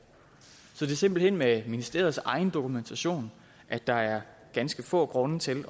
så det er simpelt hen med ministeriets egen dokumentation at der er ganske få grunde til